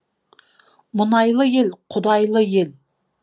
мұнайлы ел құдайлы ел